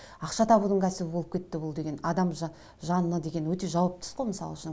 ақша табудың кәсібі болып кетті бұл деген адам жанына деген өте жауапты іс қой мысал үшін